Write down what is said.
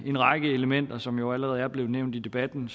en række elementer som jo allerede er blevet nævnt i debatten